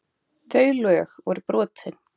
Þau lög voru brotin.